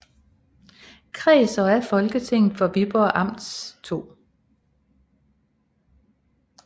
Kreds og af Folketinget for Viborg Amts 2